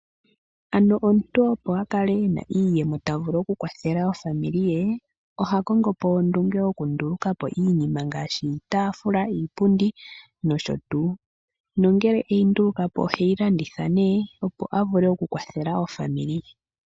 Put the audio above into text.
Ano omuntu opo akale ena iiyemo tavulu okukwathela ezimo lye, oha kongopo ondunge yokundulukapo iinima ngaashi iitaafula, iipundi noshowoo. Ngele eyi ndulukapo, oheyi landithapo opo avule okukwathela ezimo lye.